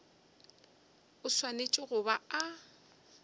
a swanetše go ba a